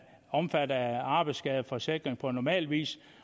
omfattet af arbejdsskadeforsikring på normal vis